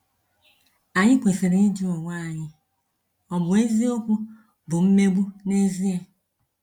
Anyị kwesịrị ịjụ onwe anyị, ‘Ọ̀ bụ eziokwu bụ mmegbu n’ezie?’